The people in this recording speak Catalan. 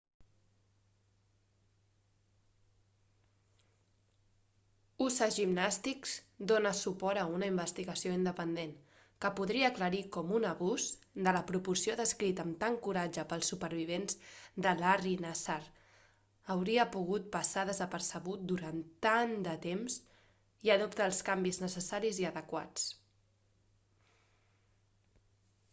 usa gymnastics dóna suport a una investigació independent que podria aclarir com un abús de la proporció descrita amb tant coratge pels supervivents de larry nassar hauria pogut passar desapercebut durant tant de temps i adopta els canvis necessaris i adequats